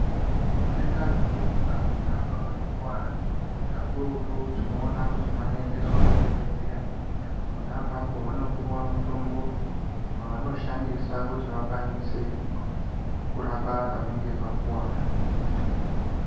Vantu vanoita zvekurumba pona pavanokuvara kakurutu tinoona kuti vanoendeswa kuzvibhedheya pona apapo vanopuwa mutombo waanoshandisa kuti vakwanise kurape pavanenge vakuwara.